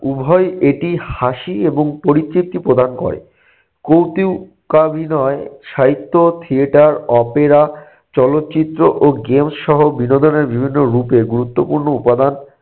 উভয় এটি হাসি এবং পরিতৃপ্তি প্রদান করে। কৌতুক আভিনয় সাহিত্য, theater, opera, চলচ্চিত্র ও games সহ বিনোদনের বিভিন্ন রূপের গুরুত্বপূর্ণ উপাদান।